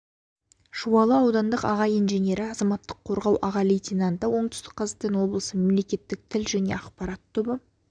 жуалы аудандық аға инженері азаматтық қорғау аға лейтенанты оңтүстік қазақстан облысы мемлекеттік тіл және ақпарат тобы